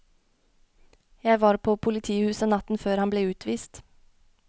Jeg var på politihuset natten før han ble utvist.